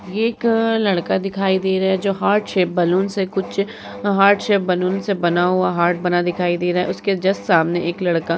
ये एक अ लड़का दिखाई दे रहा है जो हार्ट शेप बलून्स से कुछ हार्ट शेप बलून्स से बना हुआ हार्ट बना दिखाई दे रहा है। उसके जस्ट सामने एक लड़का --